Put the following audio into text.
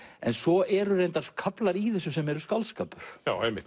svo eru kaflar í þessu sem eru skáldskapur